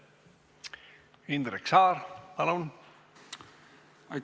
Indrek Saar, palun!